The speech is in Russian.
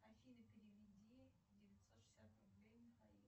афина переведи девятьсот шестьдесят рублей михаилу